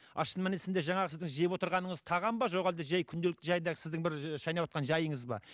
ал шын мәнісінде жаңағы сіздің жеп отырғаныңыз тағам ба жоқ әлде жай күнделікті жай сіздің бір шайнаватқан жайыңыз ба